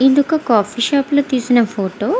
ఇది ఒక coffee shop ల తెసిన ఫోటో --